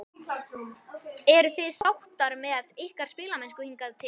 Eruð þið sáttir með ykkar spilamennsku hingað til?